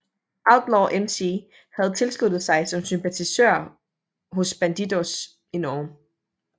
Outlaws MC havde tilsluttet sig som sympatisører hos Bandidos i Norge